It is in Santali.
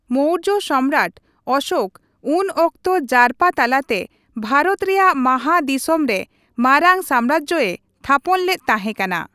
ᱢᱳᱨᱡᱚ ᱥᱚᱢᱨᱟᱴ ᱚᱥᱳᱠ ᱩᱱ ᱚᱠᱛᱚ ᱡᱟᱨᱯᱟ ᱛᱟᱞᱟᱛᱮ ᱵᱷᱟᱨᱚᱛ ᱨᱮᱭᱟᱜ ᱢᱟᱦᱟ ᱫᱤᱥᱚᱢ ᱨᱮ ᱢᱟᱨᱟᱝ ᱥᱟᱢᱨᱟᱡᱽᱮ ᱛᱷᱟᱯᱚᱱ ᱞᱮᱫ ᱛᱟᱦᱮᱸᱠᱟᱱᱟ ᱾